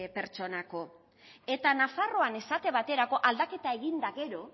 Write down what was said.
pertsonako eta nafarroan esate baterako aldaketa egin eta gero